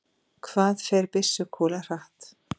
hvað fer byssukúla hratt